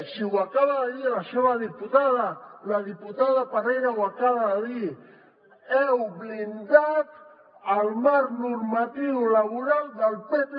si ho acaba de dir la seva diputada la diputada parera ho acaba de dir heu blindat el marc normatiu laboral del pp